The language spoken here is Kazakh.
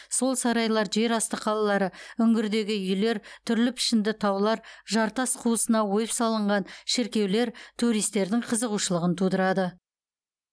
сол сарайлар жерасты қалалары үңгірдегі үйлер түрлі пішінді таулар жартас қуысына ойып салынған шіркеулер туристердің қызығушылығын тудырады